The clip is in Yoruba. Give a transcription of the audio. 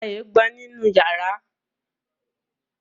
Mo pa eégbọn nínú yàrá